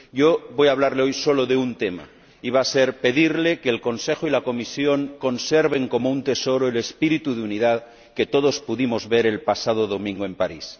Yo voy a hablarle hoy solo de un tema y pedirle que el Consejo y la Comisión conserven como un tesoro el espíritu de unidad que todos pudimos ver el pasado domingo en París.